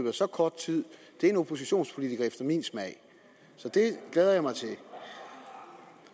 af så kort tid er en oppositionspolitiker efter min smag så det glæder jeg mig til